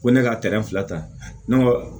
Ko ne ka fila ta